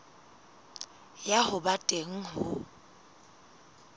ya ho ba teng ho